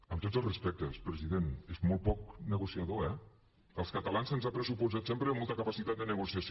amb tots els respectes president és molt poc negociador eh als catalans se’ns ha pressuposat sempre molta capacitat de negociació